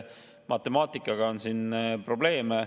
Matemaatikaga on siin teatud probleeme.